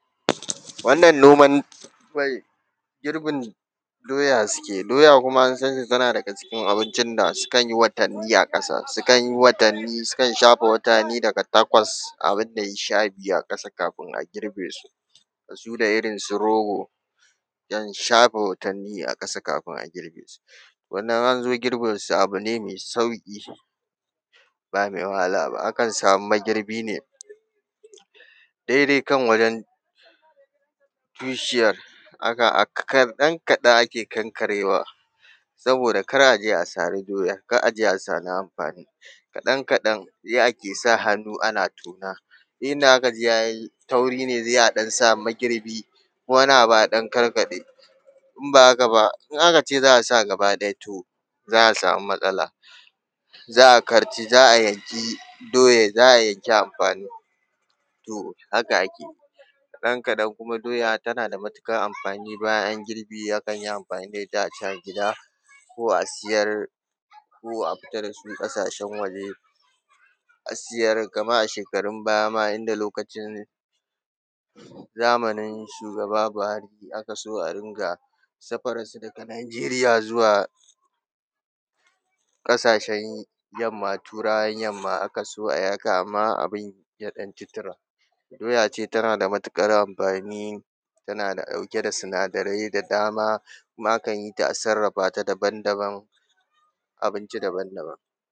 Wannan noman… girbin doya suke, doya kuma an san ta tana daga cikin abincin da sukan yi watanni a ƙasa, sukan yi watanni, sukan shafe watanni daga takwas abin da ya yi sha biyu a ƙasa kafin a girbe su, da su da irin su rogo, sukan shafe watanni a ƙasa kafin a girbe su, wanda in an zo girbinsu abu ne mai sauƙi, ba mai wahala ba. Akan samu magirbi ne, daidai kan wajen tushiyar, kaɗan kaɗan ake kankarewa, saboda kar a je a sari doyar, kar a je a sari amfani, kaɗan kaɗan, yi ake ana sa hannu, ana tona. Duk inda aka ji ya yi tauri ne sai a ɗan sa magirbi, ko wani abu a ɗan karkaɗe, in ba haka ba, in aka ce za a sa gaba ɗaya, to za a samu matsala, za a karci, za a yanki doyar, za a yanki amfani. To haka ake yi. Kaɗan kaɗan kuma doya tana da matuƙar amfani, bayan an yi girbi akan yi amfani da ita, a ci a gida, ko a siyar, ko a fita da su ƙasashen waje, a siyar, kamar a shekarun baya ma inda lokacin, zamanin shugaba Buhari, aka so a riƙa safararsu daga Nigeria zuwa ƙasashen yamma, Turawan yamma, aka so a yi haka, amma abin ya ɗan ci tura. Doya ce tana da matuƙar amfani, tana ɗauke da sinadarai da dama kuma akan yi ta a sarrafa ta daban daban, abinci daban daban.